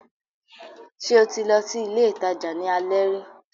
Ṣé o ti lọ sí ilé ìtajà ní alẹ́ rí?